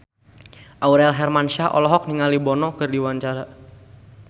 Aurel Hermansyah olohok ningali Bono keur diwawancara